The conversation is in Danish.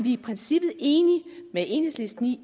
i princippet enige med enhedslisten i